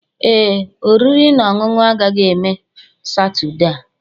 Ee, oriri na ọṅụṅụ agaghị eme Saturday a.